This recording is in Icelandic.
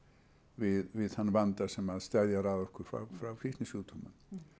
við þann vanda sem steðjar að okkur frá frá fíknisjúkdómum